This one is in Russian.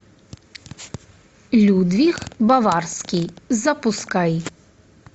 людвиг баварский запускай